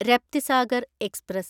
Raptisagar express